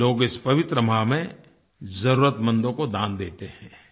लोग इस पवित्र माह में ज़रूरतमंदों को दान देते हैं